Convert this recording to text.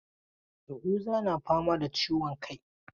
Yahuza na fama da ciwon kai.